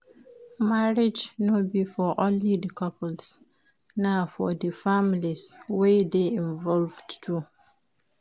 Marriage no be for only di couples na for di families wey de involved too